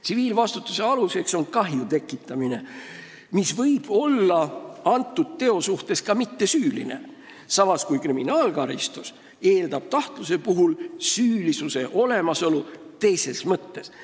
Tsiviilvastutuse aluseks on kahju tekitamine, mis võib antud teo suhtes olla ka mittesüüline, samas kui kriminaalkaristus eeldab kahtluse puhul süülisuse olemasolu teises mõttes.